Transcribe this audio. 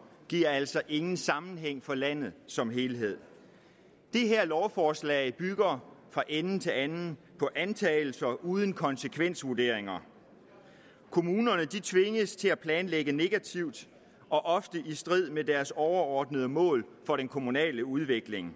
og giver altså ingen sammenhæng for landet som helhed det her lovforslag bygger fra ende til anden på antagelser uden konsekvensvurderinger kommunerne tvinges til at planlægge negativt og ofte i strid med deres overordnede mål for den kommunale udvikling